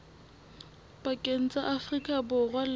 pakeng tsa afrika borwa le